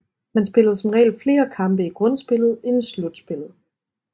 Man spiller som regel flere kampe i grundspillet end i slutspillet